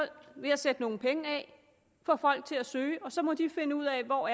ved at sætte nogle penge af få folk til at søge og så må de finde ud af hvor